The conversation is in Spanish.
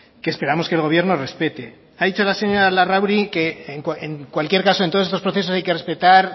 que esperamos que el gobierno respete ha dicho la señora larrauri que en cualquier caso en todos estos procesos hay que respetar